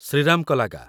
Shriram କଲାଗା